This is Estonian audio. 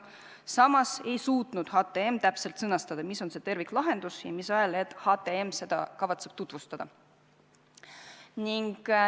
Samas ei suutnud HTM täpselt sõnastada, mis see terviklahendus siin on ja mis ajahetkel HTM seda kavatseb tutvustada.